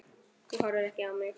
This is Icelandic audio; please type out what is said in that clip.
Þú horfir ekki á mig.